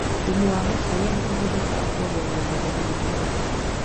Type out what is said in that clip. Thumu wa mahĩu nĩ uhuthĩkaga kuongerera magetha ma marigũ